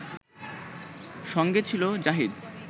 সঙ্গে ছিল জাহিদ